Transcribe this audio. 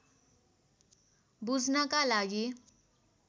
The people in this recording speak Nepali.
बुझ्नका लागि